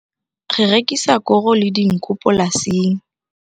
Re rekisa koro le dinku polasing.